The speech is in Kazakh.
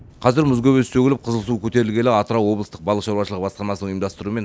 қазір мұз көбесі сөгіліп қызылсу көтерілгелі атырау облыстық балық шаруашылығы басқармасының ұйымдастыруымен